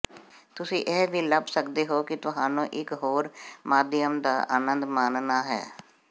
ਤੁਸੀਂ ਇਹ ਵੀ ਲੱਭ ਸਕਦੇ ਹੋ ਕਿ ਤੁਹਾਨੂੰ ਇੱਕ ਹੋਰ ਮਾਧਿਅਮ ਦਾ ਆਨੰਦ ਮਾਣਨਾ ਹੈ